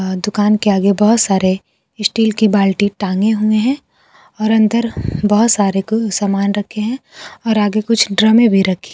अ दुकान के आगे बहोत सारे स्टील की बाल्टी टांगे हुए है और अंदर बहोत सारे सामान रखे है और आगे कुछ ड्रॉमे भी रखे--